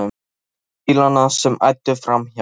Horfði á bílana sem æddu framhjá.